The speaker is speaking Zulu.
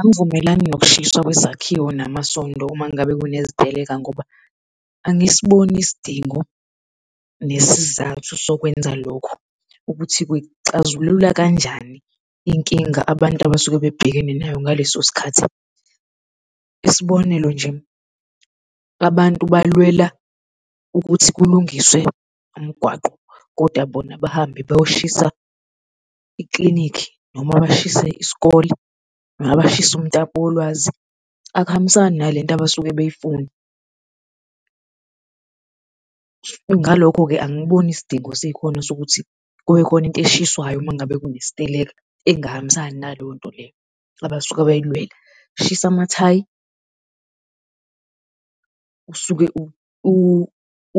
Angivumelani nokushiswa kwezakhiwo namasondo uma ngabe sekuneziteleka ngoba angisiboni isidingo nesizathu sokwenza lokho ukuthi kuyixazulula kanjani inkinga abantu abasuke bebhekane nayo ngaleso sikhathi. Isibonelo nje abantu balwela ukuthi kulungiswe umgwaqo, kodwa bona bahambe bayoshiya iklinikhi, noma bashise isikole, noma bashise umtapo wolwazi, akuhambisani nalento abasuke beyifuna. Ngalokho-ke angiboni isidingo sikhona sokuthi kubekhona into eshiswayo uma ngabe kunesiteleka engahambisani ngaleyo nto leyo abasuke beyilwela, shisa amathayi usuke